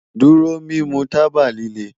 Duro mimu taba lile